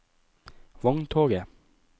vogntoget